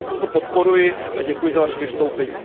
Takže i toto podporuji a děkuji za Vaše vystoupení.